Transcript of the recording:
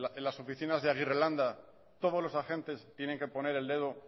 en las oficinas de aguirrelanda todos los agentes tienen que poner el dedo